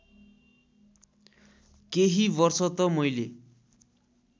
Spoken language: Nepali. केही वर्ष त मैले